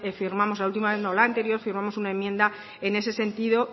no la anterior firmamos una enmienda en ese sentido